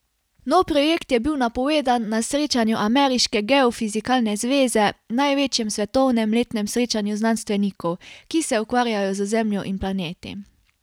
Nov projekt je bil napovedan na srečanju Ameriške geofizikalne zveze, največjem svetovnem letnem srečanju znanstvenikov, ki se ukvarjajo z Zemljo in planeti.